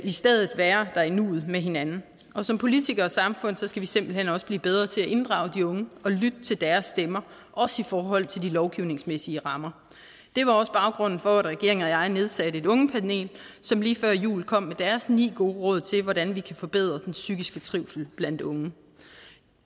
i stedet at være der i nuet med hinanden og som politikere og samfund skal vi simpelt hen også blive bedre til at inddrage de unge og lytte til deres stemmer også i forhold til de lovgivningsmæssige rammer det var også baggrunden for at regeringen og jeg nedsatte et ungepanel som lige før jul kom med deres ni gode råd til hvordan vi kan forbedre den psykiske trivsel blandt unge